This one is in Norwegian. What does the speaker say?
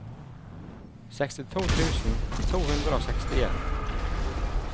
sekstito tusen to hundre og sekstien